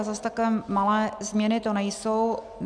A zase takové malé změny to nejsou.